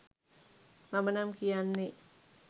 මම නම් කියන්නේ